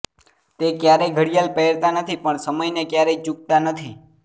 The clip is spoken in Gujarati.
તે ક્યારેય ઘડિયાળ પહેરતા નથી પણ સમયને ક્યારેય ચૂકતા નથી